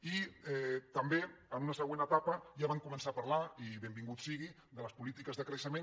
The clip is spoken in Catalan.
i també en una següent etapa ja van començar a parlar i benvingut sigui de les polítiques de creixement